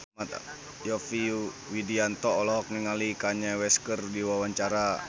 Yovie Widianto olohok ningali Kanye West keur diwawancara